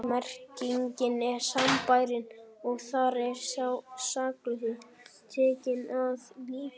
Merkingin er sambærileg og þar er sá saklausi tekinn af lífi.